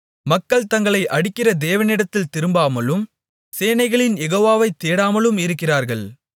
மக்கள் தங்களை அடிக்கிற தேவனிடத்தில் திரும்பாமலும் சேனைகளின் யெகோவாவை தேடாமலும் இருக்கிறார்கள்